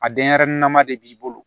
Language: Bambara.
A denyɛrɛnin nama de b'i bolo